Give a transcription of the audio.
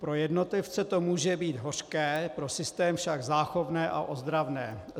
Pro jednotlivce to může být hořké, pro systém však záchovné a ozdravné.